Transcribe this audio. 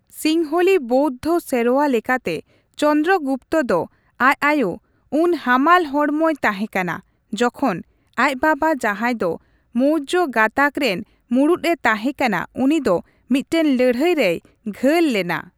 ᱥᱤᱝᱦᱚᱞᱤ ᱵᱳᱣᱫᱷᱚ ᱥᱮᱨᱣᱟ ᱞᱮᱠᱟᱛᱮ, ᱪᱚᱱᱫᱨᱚᱜᱩᱯᱛᱚ ᱫᱚ ᱟᱡ ᱟᱭᱳ ᱩᱱ ᱦᱟᱢᱟᱞ ᱦᱚᱲᱢᱚᱭ ᱛᱟᱦᱮ ᱠᱟᱱᱟ ᱡᱚᱠᱷᱚᱱ ᱟᱡ ᱵᱟᱵᱟᱼᱡᱟᱸᱦᱟᱭ ᱫᱚ ᱢᱳᱨᱡᱚ ᱜᱟᱛᱟᱠ ᱨᱮᱱ ᱢᱩᱲᱩᱛᱼᱮ ᱛᱟᱸᱦᱮ ᱠᱟᱱᱟ ᱩᱱᱤ ᱫᱚ ᱢᱤᱫᱴᱟᱝ ᱞᱟᱹᱲᱦᱟᱹᱭ ᱨᱮᱭ ᱜᱷᱟᱹᱞ ᱞᱮᱱᱟ ᱾